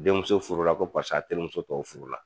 Denmuso furu la ko paseke a terimuso tɔw furu la.